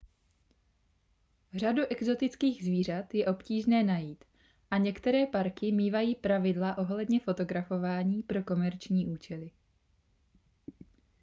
řadu exotických zvířat je obtížné najít a některé parky mívají pravidla ohledně fotografování pro komerční účely